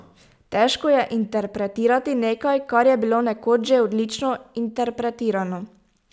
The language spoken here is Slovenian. Težko je interpretirati nekaj, kar je bilo nekoč že odlično interpretirano.